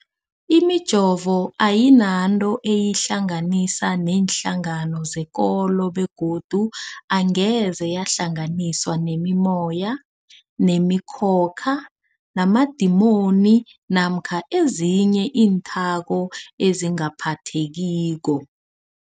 Imijovo ayinanto eyihlanganisa neenhlangano zekolo begodu angeze yahlanganiswa nemimoya, nemi khokha, namadimoni namkha ezinye iinthako ezingaphathekiko.